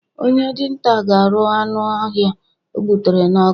Onye dinta ga aru anu ohia o gbutere n'ọkụ